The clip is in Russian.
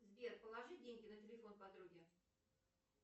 сбер положи деньги на телефон подруги